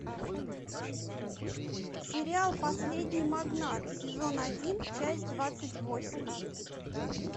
сериал последний магнат сезон один часть двадцать восемь